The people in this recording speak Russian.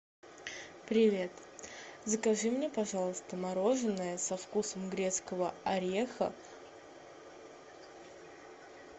привет закажи мне пожалуйста мороженое со вкусом грецкого ореха